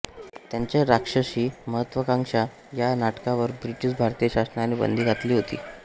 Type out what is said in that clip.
त्यांच्या राक्षसी महत्त्वाकांक्षा या नाटकावर ब्रिटिश भारतीय शासनाने बंदी घातली होती